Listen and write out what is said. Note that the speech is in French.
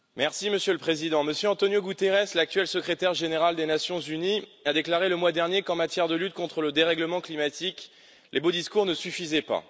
Monsieur le Président, Monsieur António Guterres, l'actuel Secrétaire général des Nations unies, a déclaré le mois dernier qu'en matière de lutte contre le dérèglement climatique, les beaux discours ne suffisaient pas.